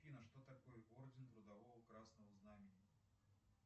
афина что такое орден трудового красного знамени